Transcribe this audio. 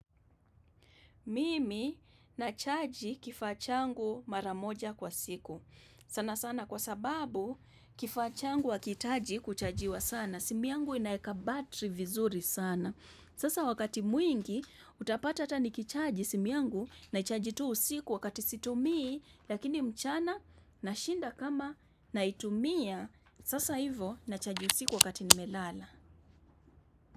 Mimi nachaji kifaa changu maramoja kwa siku. Sana sana kwa sababu kifaa changu hakiitaji kuchajiwa sana. Simu yangu inaeka battery vizuri sana. Sasa wakati mwingi utapata hata nikichaji simu yangu naichaji tu usiku wakati situmii. Lakini mchana nashinda kama naitumia. Sasa hivo nachaji usiku wakati nimelala.